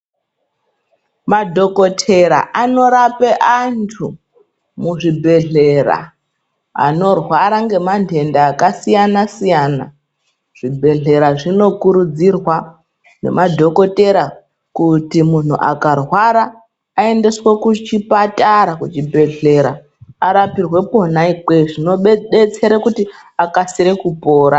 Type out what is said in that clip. Madhokotera anorape antu muzvibhedhlera anorwara ngemandenda akasiyana-siyana. Zvibhedhlera zvinokurudzirwa nemadhokotera kuti munhu akarwara, aendeswe kuchipatara, kuchibhedhlera arapirwe kwona ikweyo, zvinodetsere kuti akasire kupora.